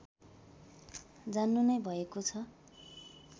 जान्नु नै भएको छ